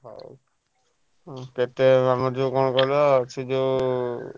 ଉଁ କେତେ ଆମ ଯୋଉ କଣ କହିଲ ସେ ଯୋଉ ।